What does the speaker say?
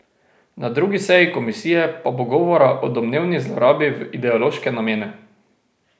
Na drugi seji komisije pa bo govora o domnevni zlorabi v ideološke namene.